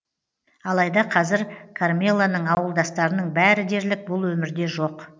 алайда қазір кармелоның ауылдастарының бәрі дерлік бұл өмірде жоқ